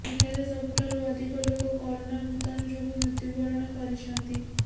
ଏଠାରେ ସବୁଠାରୁ ଅଧିକ ଲୋକ କୋରୋନା ଭୂତାଣୁ ଯୋଗୁଁ ମୃତ୍ୟୁବରଣ କରିଛନ୍ତି